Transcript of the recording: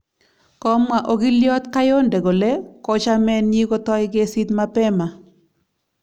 Komwa ogiliot Kayonde kole kochameenyi kotai kesiit mapema